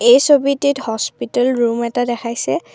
এই ছবিটিত hospital room এটা দেখাইছে।